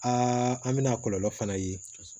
an bɛna kɔlɔlɔ fana ye